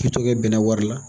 bɛnnɛ wari la.